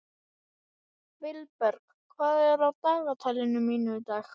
Vilberg, hvað er á dagatalinu mínu í dag?